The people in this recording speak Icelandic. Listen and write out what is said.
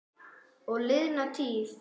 Og liðna tíð.